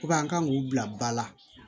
an kan k'u bila ba la